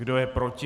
Kdo je proti?